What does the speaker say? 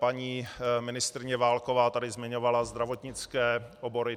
Paní ministryně Válková tady zmiňovala zdravotnické obory.